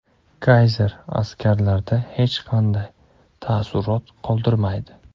Kayzer askarlarda hech qanday taassurot qoldirmaydi.